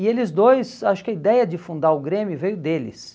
E eles dois, acho que a ideia de fundar o Grêmio veio deles.